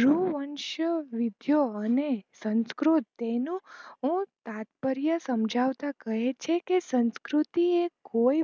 ગૃહવંશ વિધયો અને સંકૃત તેનું હું તાટ્પેર્ય સમજાવતા કહે છે કે સંકૃતિ એ કોઈ